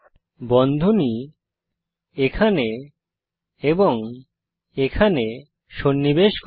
বন্ধনী এখানে এবং এখানে সন্নিবেশ করি